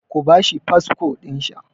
Ku ba shi fasfo ɗinsa!